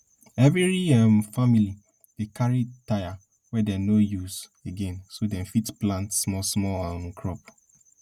efiri um famili dey carry tyre wey dem no dey use again so dem fit plant small small um crop